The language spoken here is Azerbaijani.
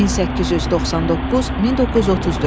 1899-1934.